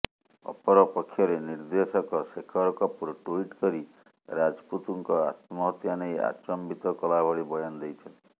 ଅପରପକ୍ଷରେ ନିର୍ଦ୍ଦେଶକ ଶେଖର କପୁର ଟୁଇଟ୍ କରି ରାଜପୁତଙ୍କ ଆତ୍ମହତ୍ୟା ନେଇ ଆଚମ୍ବିତ କଲା ଭଳି ବୟାନ ଦେଇଛନ୍ତି